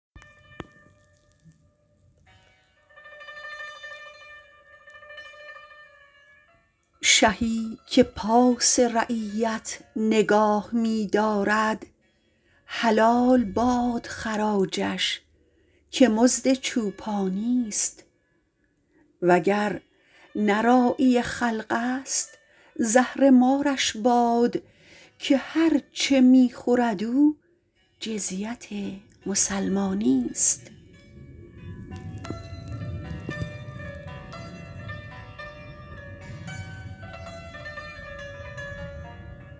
شهی که پاس رعیت نگاه می دارد حلال باد خراجش که مزد چوپانیست وگر نه راعی خلق است زهرمارش باد که هر چه می خورد او جزیت مسلمانیست